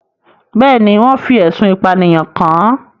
Bẹ́ẹ̀ ni, wọ́n fi ẹ̀sùn ìpànìyàn kàn án.